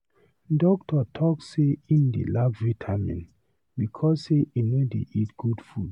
Doctor talk say im dey lack vitamin because say he no dey eat good food.